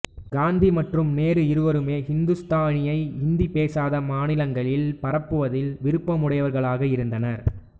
காந்தி மற்றும் நேரு இருவருமே இந்துஸ்தானியை இந்தி பேசாத மாநிலங்களில் பரப்புவதில் விருப்பமுடையவர்களாக இருந்தனர்